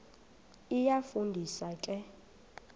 iyafu ndisa ke